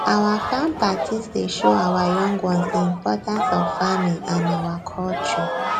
our farm parties dey show our young ones di importance of farming and our culture